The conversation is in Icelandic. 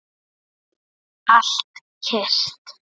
Allt kyrrt.